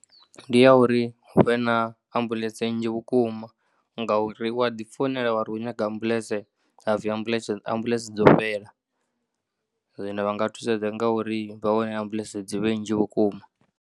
Ndi ya uri hu vhe na ambuḽentse nnzhi vhukuma ngauri wa ḓi founela wa ri khou nyaga ambuḽentse ha pfhi ambuḽentse dzo fhela zwino vha nga thusedza nga uri vha wane ambuḽentse dzi vhe nnzhi vhukuma.